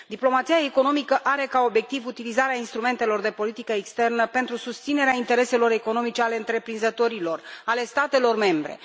Diplomația economică are ca obiectiv utilizarea instrumentelor de politică externă pentru susținerea intereselor economice ale întreprinzătorilor, ale statelor membre.